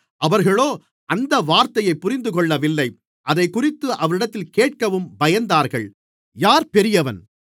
அவர்களோ அந்த வார்த்தையைப் புரிந்துகொள்ளவில்லை அதைக்குறித்து அவரிடத்தில் கேட்கவும் பயந்தார்கள்